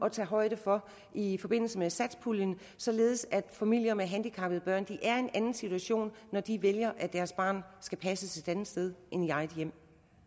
at tage højde for i forbindelse med satspuljeaftalen således at familier med handicappede børn er i en anden situation når de vælger at deres barn skal passes et andet sted end i eget hjem